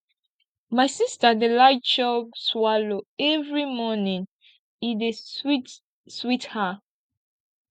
my sista dey like chop swallow every morning e dey sweet sweet her